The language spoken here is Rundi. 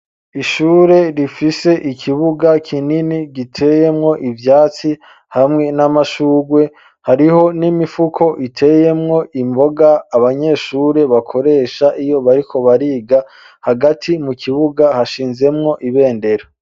Ishure rifise ikibuga kinini giteyemwo ivyatsi hamwe n'amashugwe hariho n'imifuko iteyemwo imboga abanyeshure bakoresha iyo bariko bariga, hagati mu kibuga hashinzemwo ibendera.